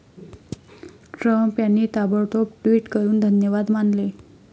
Trump यांनी ताबडतोब tweet करून धन्यवाद मानले.